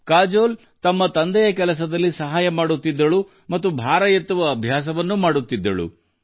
ಕಾಜೋಲ್ ತನ್ನ ತಂದೆಗೆ ಸಹಾಯ ಮಾಡುತ್ತಾ ಅದರ ಜೊತೆಗೆ ಭಾರ ಎತ್ತುಗೆಯನ್ನು ಅಭ್ಯಾಸ ಮಾಡುತ್ತಿದ್ದರು